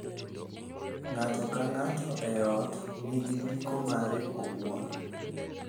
Ng’ato ka ng’ato e ot nigi giko mare owuon,